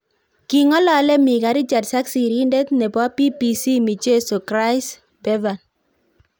King'olole Micah Richards ak sirindet nebo BBC Michezzo Chris Bevan